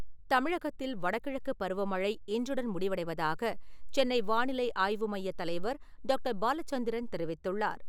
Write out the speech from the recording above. தமிழகத்தில், வடகிழக்குப் பருவமழை இன்றுடன் முடிவடைவதாக சென்னை வானிலை ஆய்வு மையத் தலைவர் டாக்டர். பாலச்சந்திரன் தெரிவித்துள்ளார்.